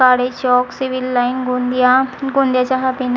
काडे Chowk civil line Gondia गोंदियाच्या